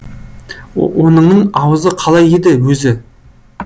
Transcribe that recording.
оныңның аузы қалай еді өзі